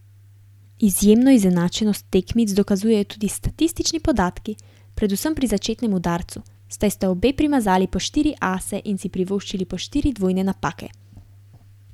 Izjemno izenačenost tekmic dokazujejo tudi statistični podatki, predvsem pri začetnem udarcu, saj sta obe primazali po štiri ase in si privoščili po štiri dvojne napake.